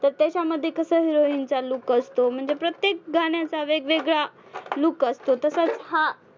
तर त्याच्यामध्ये कसं heroine चा look असतो म्हणजे प्रत्येक गाण्याचा वेगवेगळा look असतो तसंच हा